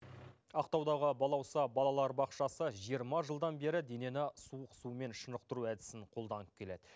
ақтаудағы балауса балалар бақшасы жиырма жылдан бері денені суық сумен шынықтыру әдісін қолданып келеді